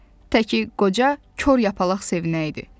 Təki qoca Kor Yapaq sevinəydi.